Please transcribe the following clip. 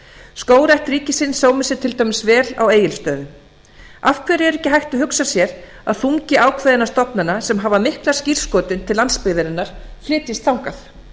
skógrækt ríkisins sómir sér til dæmis vel á egilsstöðum af hverju er ekki hægt að hugsa sér að þungi ákveðinna stofnana sem hafa mikla skírskotun til landsbyggðarinnar flytjist þangað